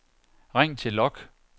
ring til log